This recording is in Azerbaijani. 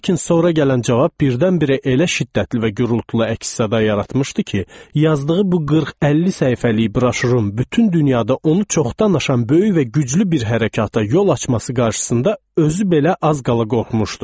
Lakin sonra gələn cavab birdən-birə elə şiddətli və gurultulu əks-səda yaratmışdı ki, yazdığı bu 40-50 səhifəlik broşurun bütün dünyada onu çoxdan aşan böyük və güclü bir hərəkata yol açması qarşısında özü belə az qala qorxmuşdu.